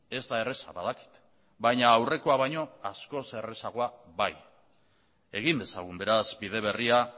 ez da erraza badakit baina aurrekoa baino askoz errazagoa bai egin dezagun beraz bide berria